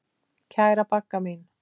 Kæra Bagga mín.